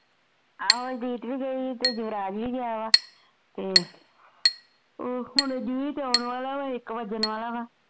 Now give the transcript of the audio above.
ਆਹੋ ਰੀਤ ਵੀ ਗਈ ਐ ਯੁਵਰਾਜ ਵੀ ਗਿਆ ਵਾ ਤੇ ਹੁਣ ਜੀਤ ਆਉਣ ਵਾਲਾ ਐ ਇੱਕ ਵਜਣ ਵਾਲਾ ਐ